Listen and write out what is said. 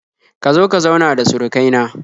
Ka zo ka zauna da surukai na